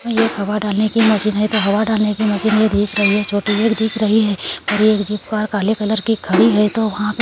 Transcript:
एक हवा डालने की मशीन है ये तो हवा डालने की मशीन है ये दिख रही है छोटी है एक दिख रही है पर एक जो कार काले कलर की खड़ी है ये तो वहां पे --